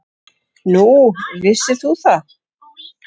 Nú, vissir þú það?